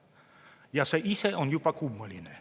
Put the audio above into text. Ja see ise on juba kummaline.